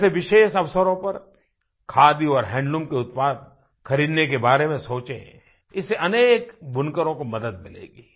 जैसे विशेष अवसरों पर खादी और हैंडलूम के उत्पाद खरीदने के बारे में सोचें इससे अनेक बुनकरों को मदद मिलेगी